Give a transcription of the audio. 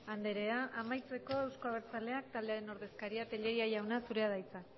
andrea amaitzeko euzko abertzaleak taldearen ordezkaria tellería jauna zurea da hitza